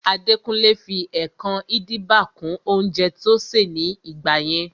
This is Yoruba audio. Adekunle fi ẹkan-idiba kún oúnjẹ tó ṣè ní gbà yẹn